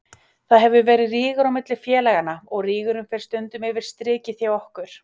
Það hefur verið rígur á milli félaganna og rígurinn fer stundum yfir strikið hjá okkur.